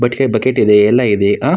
ಬಟ್ಲೇ bucket ಇದೆ ಎಲ್ಲ ಇವೆ ಆ --